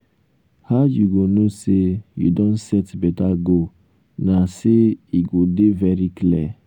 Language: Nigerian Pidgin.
how you go know say you don set beta goal na say e go dey very clear.